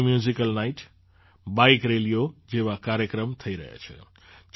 અહીં musical night bike રેલીઓ જેવા કાર્યક્રમ થઈ રહ્યા છે